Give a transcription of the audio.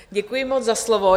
Děkuji moc za slovo.